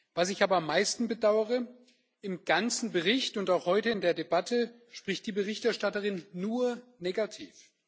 Was ich aber am meisten bedauere Im ganzen Bericht und auch heute in der Debatte spricht die Berichterstatterin nur negativ.